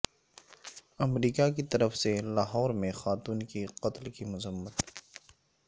امریکہ کی طرف سے لاہور میں خاتون کے قتل کی مذمت